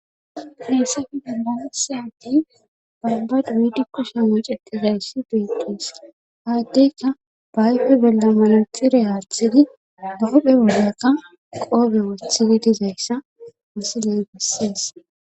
Heesafi delansyati babbad wiidi kushi mucetizayssi beetes haddeyka baayfe bellemilixire aathidi doophe wolekka qoobe wothili dizayssa misiley bessees.